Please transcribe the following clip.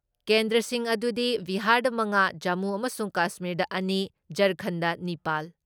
ꯀꯦꯟꯗ꯭꯭ꯔꯁꯤꯡ ꯑꯗꯨꯗꯤ ꯕꯤꯍꯥꯔꯗ ꯃꯉꯥ, ꯖꯃꯨ ꯑꯃꯁꯨꯡ ꯀꯁꯃꯤꯔꯗ ꯑꯅꯤ, ꯓꯔꯈꯟꯗ ꯅꯤꯄꯥꯜ,